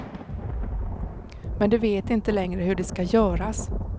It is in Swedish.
Men de vet inte längre hur det skall göras.